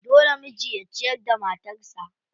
Dole miji ya ciyar da matarsa.